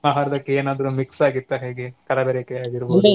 ಆಹಾರದಕ್ಕೆ ಏನಾದ್ರೂ mix ಆಗಿತ್ತಾ ಹೇಗೆ ಕಲಬೇರಿಕೆ ಆಗಿರ್ಬೋದು .